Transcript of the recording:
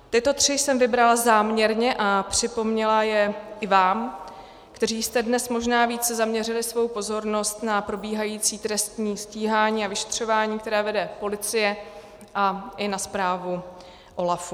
Tyto tři jsem vybrala změrně a připomněla je i vám, kteří jste dnes možná více zaměřili svou pozornost na probíhající trestní stíhání a vyšetřování, které vede policie, a i na zprávu OLAF.